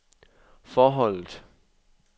forholdet